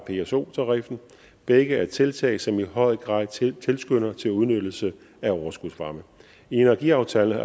pso tariffen begge er tiltag som i høj grad tilskynder til udnyttelse af overskudsvarme i energiaftalen har